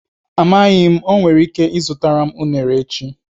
Amaghị m, o nwere ike ịzụtara m unere echi.